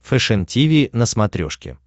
фэшен тиви на смотрешке